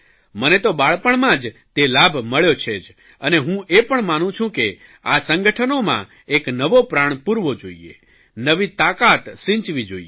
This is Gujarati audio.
મને તો બાળપણમાં જ તે લાભ મળ્યો છે જ અને હું એ પણ માનું છું કે આ સંગઠનોનાં એક નવો પ્રાણ પૂરવો જોઇએ નવી તાકાત સિંચવી જોઇએ